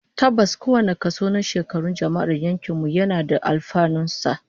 Tabbas, kowane kaso na shekarun jama'ar yankin mu yana da alfanun sa